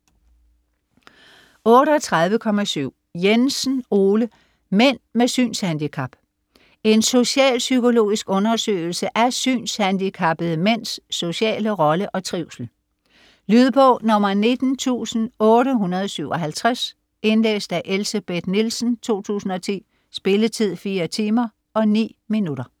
38.7 Jensen, Ole: Mænd med synshandicap: en socialpsykologisk undersøgelse af synshandicappede mænds sociale rolle og trivsel Lydbog 19857 Indlæst af Elsebeth Nielsen, 2010. Spilletid: 4 timer, 9 minutter.